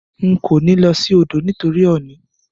N ko ní lo sí odò nítorí òònì